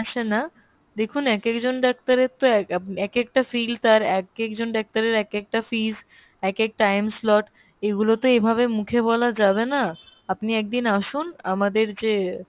ও same time এ আসে না, দেখুন এক একজন ডাক্তারের তো এক একটা field তার এক একজন ডাক্তারের এক একটা fees এক এক time slot এগুলো তো এভাবে মুখে বলা যাবে না আপনি একদিন আসুন আমাদরে যে